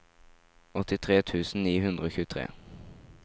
åttitre tusen ni hundre og tjuetre